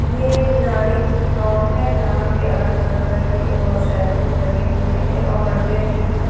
ये एक किराने की शॉप है जहां पे अलग तरह तरह के अ शैंपू टंगे हुए हैं और अड्डे में जो है।